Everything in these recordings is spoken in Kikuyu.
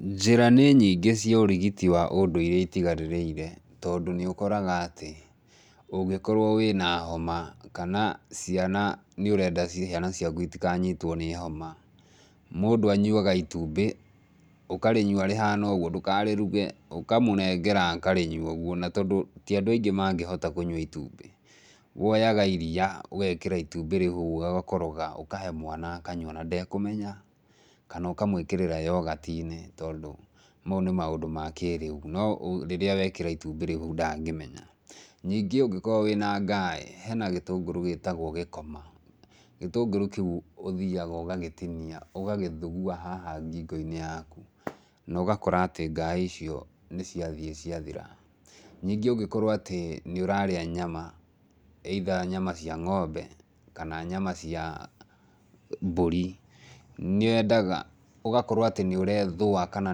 Njĩra nĩ nyingĩ cia ũrigiti wa ũndũire itigarĩrĩire, tondũ nĩũkoraga atĩ ũngĩkorwo wĩna homa kana ciana nĩ renda ciana ciaku itikanyitwo nĩ homa, mũndũ anyuaga itumbĩ, ũkarĩnyua rĩhana ũguo ndũkarĩruge ũkamũnengera akarĩnyua rĩhana ũguo. Na tondũ ti andũ aingĩ mangĩhota kũnyua itumbĩ, woyaga iria ũgekĩra itumbĩ rĩu ũgakoroga ũkahe mwana akanyua na ndekũmenya kana ũkamwĩkĩrĩra yoghurt inĩ tondũ mau nĩ maũndũ ma kĩrĩu. No rĩrĩa wekĩra itumbĩ rĩu hau ndangĩmenya. Ningĩ ũngĩkorwo wĩna ngaĩ, hena gĩtũngũrũ gĩtagwo gĩkoma. Gĩtũngũrũ kĩu ũthiaga ũgagĩtinia ũgagĩthugua haha ngingo-inĩ yaku na ũgakora atĩ ngaĩ icio nĩciathiĩ ciathira. Ningĩ ũngĩkorwo atĩ nĩũrarĩa nyama either nyama cia ng'ombe kana nyama cia mbũri, nĩyendaga ũgakorwo atĩ nĩũrethũa kana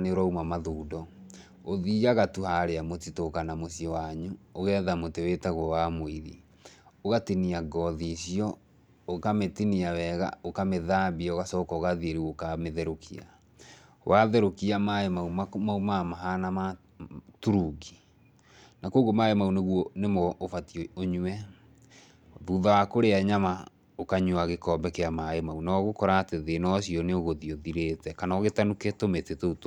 nĩũrauma mtathundo, ũthiaga tu harĩa mũtitũ kana nmũciĩ wanyu, ũgetha mũtĩ wĩtagwo wa mũiri ũgatinia ngothi icio ũkamĩtinia weega, ũkamĩthambia ũgacoka rĩu ũgathiĩ ũkamĩtehrũkia. Watherũkia rĩu maĩ mau maumaga mahana ma turungi. Na kuoguo maĩ mau nĩguo nĩmo ũbatiĩ ũnyue, thutha wa kũrĩa nyama ũkanyua gĩkombe kĩa maĩ mau, na ũgũkora atĩ thĩna ũcio nĩũgũthiĩ ũthirĩte kana ũgĩtanuke tũmĩtĩ tũu twa.